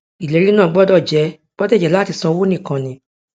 ìlérí náà gbọdọ jẹ gbọdọ jẹ láti san owó nìkan ni